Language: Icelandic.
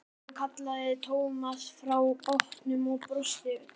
Stefán kallaði Thomas frá bátnum og brosti breitt.